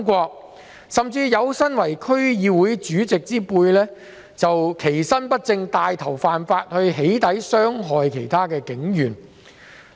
更甚的是，有身為區議會主席之輩，其身不正，帶頭犯法"起底"來傷害警員。